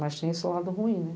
Mas tem esse lado ruim, né?